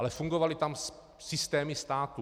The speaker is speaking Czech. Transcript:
Ale fungovaly tam systémy státu.